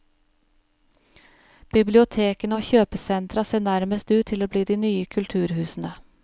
Bibliotekene og kjøpesentra ser nærmest ut til å bli de nye kulturhusene.